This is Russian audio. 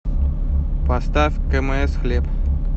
поставь кмс хлеб